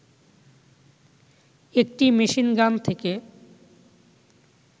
একটি মেশিনগান থেকে